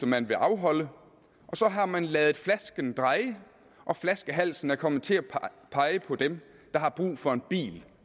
man vil afholde og så har man ladet flasken dreje og flaskehalsen er kommet til at pege på dem der har brug for en bil